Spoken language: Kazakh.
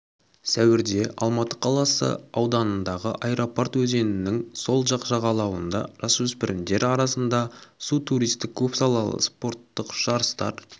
сәуірде алматы қаласы ауданындағы аэропорт өзенінің сол жақ жағалауында жасөспірімдер арасында су-туристік көпсалалы спорттық жарыстар